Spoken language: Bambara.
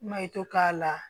Mayo k'a la